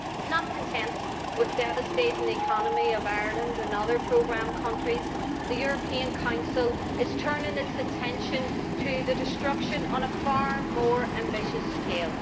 Not content with devastating the economy of Ireland and other programme countries, the European Council is turning its attention to destruction on a far more ambitious scale.